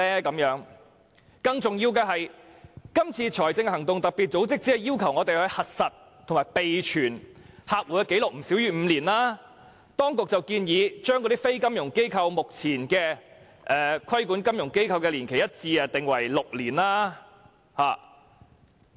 更重要的是，今次財務行動特別組織只是要求我們核實和備存客戶的紀錄不少於5年，而當局則建議將規管非金融機構的年期與目前規管金融機構的年期改為一致，訂為6年。